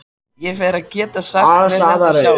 Ég fer að geta sagt mér þetta sjálf.